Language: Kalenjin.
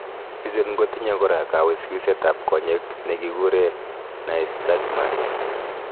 Bichuton kotinye kora kawiswisetab konyek nekikuren nystagmus.